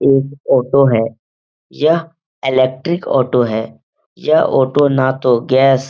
एक ऑटो है यह इलेक्ट्रिक ऑटो है यह ऑटो ना तो गैस --